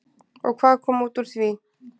Og hvað kom út úr því?